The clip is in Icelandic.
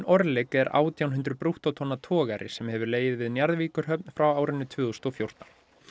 Orlik er átján hundruð brúttótonna togari sem hefur legið við Njarðvíkurhöfn frá árinu tvö þúsund og fjórtán